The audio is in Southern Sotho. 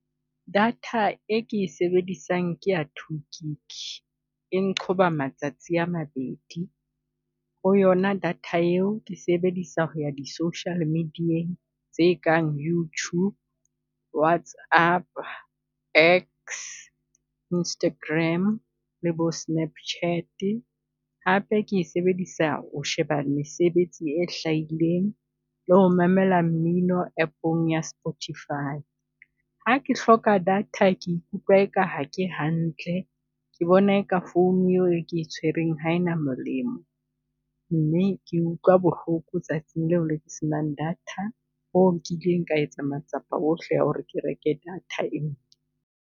Data e ke e sebedisang ke ya two gig-i, eng nqoba matsatsi a mabedi ho yona data eo ke sebedisa ho ya di social media-ng tse kang YouTube, WhatsApp, X, Instagram le bo Snapchat-e. Hape ke e sebedisa ho sheba mesebetsi e hlahileng, le ho mamela mmino app-ong ya Spotify. Ha ke hloka data ke ikutlwa eka ha ke hantle, ke bona eka phone eo e ke e tshwereng ha ena molemo. Mme ke utlwa bohloko tsatsing leo le ke senang data hoo nkileng ka etsa matsapa ohle a ho re ke reke data enngwe.